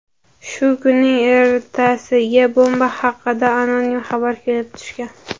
Shu kunning ertasiga bomba haqida anonim xabar kelib tushgan.